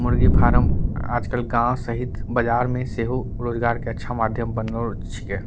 मुर्गी फारम आजकल गाँव सहित बाजार में सेहु रोजगार के अच्छा माध्यम बनोर छिके।